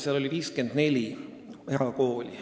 Seal oli 54 erakooli.